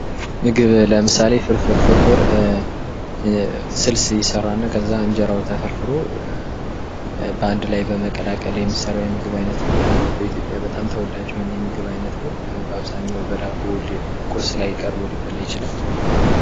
ምግብ ለምሳሌ ፍርፍር:- ፍርፍር ስልስ ይሰራና ከዚያ እንጀራዉ ተፈርፍሮ በአንድ ላይ በመቀላቀል የሚሰራ የምግብ አይነት ነዉ። በኢትዮጵያ በጣም ተወዳጅ የሆነ የምግብ አየነት ነዉ። በአብዛኛዉ በዳቦ ቁርስ ላይ ቀርቦ ሊበላ ይችላል።